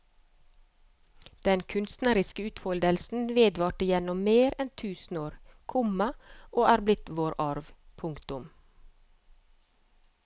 Den kunstneriske utfoldelsen vedvarte gjennom mer enn tusen år, komma og er blitt vår arv. punktum